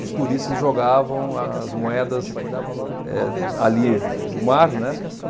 Os turistas jogavam as moedas, eh, ali no mar, né.